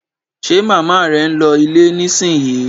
Ṣe màmá rẹ ń lọ ilé nísìnyí?